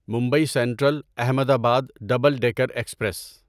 Mumbai central Ahmedabad double decker express